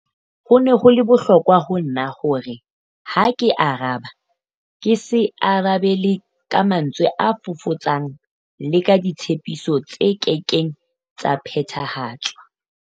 Ho ne ho le bohlokwa ho nna hore ha ke araba ke se arabele ka mantswe a fofotsang le ka ditshepiso tse kekeng tsa phethahatswa.